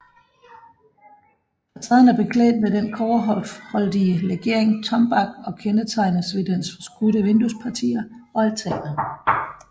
Facaden er beklædt med den kobberholdige legering tombak og kendetegnes ved dens forskudte vinduespartier og altaner